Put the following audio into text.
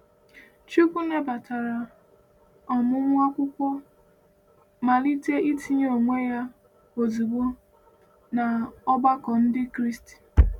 Chukwu nabatara ọmụmụ akwụkwọ ma malite itinye onwe ya ozugbo n’ọgbakọ Ndị Kraịst.